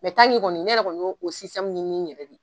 kɔni ne yɛrɛ kɔni y'o o ɲɛɲini n ɲɛrɛ de